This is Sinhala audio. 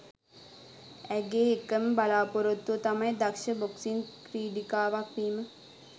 ඇගේ එකම බලාපොරොත්තුව තමයි දක්ෂ බොක්සිං ක්‍රිඩිකාවක් වීම.